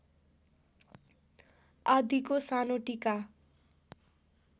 आदिको सानो टीका